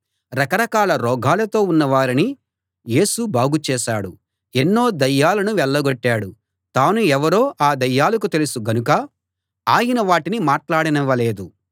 రకరకాల రోగాలతో ఉన్న వారిని యేసు బాగు చేశాడు ఎన్నో దయ్యాలను వెళ్ళగొట్టాడు తాను ఎవరో ఆ దయ్యాలకు తెలుసు గనుక ఆయన వాటిని మాట్లాడనివ్వలేదు